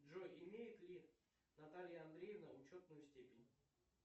джой имеет ли наталья андреевна учетную степень